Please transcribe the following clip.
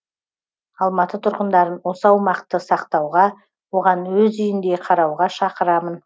алматы тұрғындарын осы аумақты сақтауға оған өз үйіндей қарауға шақырамын